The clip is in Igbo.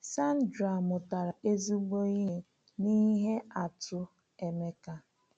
Sandra mụtara ezigbo ihe n’ihe atụ Emeka.